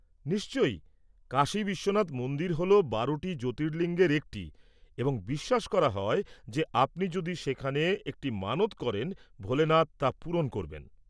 নিশ্চয়, কাশী বিশ্বনাথ মন্দির হল বারোটি জ্যোতির্লিঙ্গের একটি, এবং বিশ্বাস করা হয় যে আপনি যদি সেখানে একটি মানত করেন, ভোলেনাথ তা পূরণ করবেন!